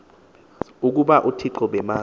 ukuba uthixo babemazi